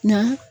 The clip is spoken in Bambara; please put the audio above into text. Na